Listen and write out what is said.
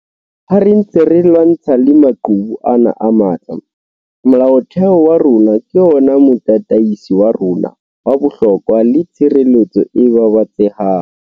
Ha re ntse re lwantshana le maqhubu ana a matla, Molaotheo wa rona ke ona motataisi wa rona wa bohlokwa le tshireletso e babatsehang.